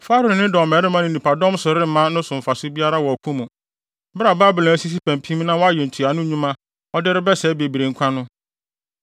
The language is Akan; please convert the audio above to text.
Farao ne ne dɔmmarima ne nnipadɔm so remma no mfaso biara wɔ ɔko mu, bere a Babilonia asisi pampim na wayɛ ntuano nnwuma a ɔde rebɛsɛe bebree nkwa no.